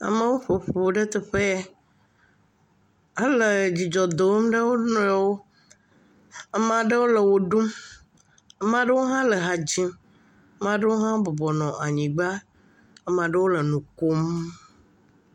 Amewo ƒo ƒu ɖe teƒe yɛ hele dzidzɔ dom na wo nɔewo. Amaa ɖewo le wo ɖum, amaa ɖewo hã le ha dzim, amaa ɖewo hã wobɔbɔ nɔ anyigba, amaa ɖewo le nu koom.